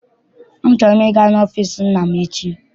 Achọrọ m ịga n'ọfịịsi nna m echi.